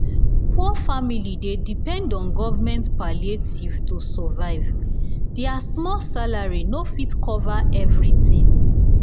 poor family dey um depend um on govt palliative to survive! dia small um salary no fit cover everytin.